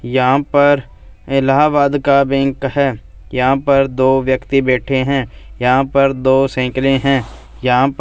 यहां पर इलाहाबाद का बैंक है यहां पर दो व्यक्ति बैठे हैं यहां पर दो साइकिलें हैं यहां--